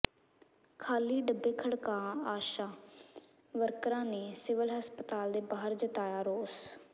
ਖਾਲੀ ਡੱਬੇ ਖੜਕਾ ਆਸ਼ਾ ਵਰਕਰਾਂ ਨੇ ਸਿਵਲ ਹਸਪਤਾਲ ਦੇ ਬਾਹਰ ਜਤਾਇਆ ਰੋਸ